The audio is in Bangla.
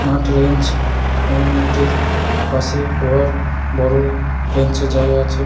নাট রেঞ্জ এবং একটি পাশে লোহার বড় রেঞ্চের জায়গা আছে।